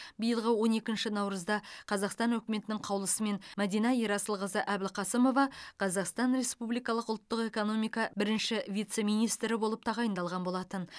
биылғы он екінші наурызда қазақстан үкіметінің қаулысымен мәдина ерасылқызы әбілқасымова қазақстан республикалық ұлттық экономика бірінші вице министрі болып тағайындалған болатын